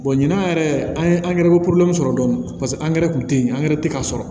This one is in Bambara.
ɲinan yɛrɛ an ye angɛrɛ sɔrɔ dɔni dɔni paseke angɛrɛ tun te yen angɛrɛ tɛ ka sɔrɔ